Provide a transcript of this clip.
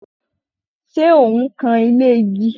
Ṣẹ ẹ̀ ń kan ilé igi?